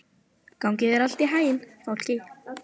Gangi þér allt í haginn, Fálki.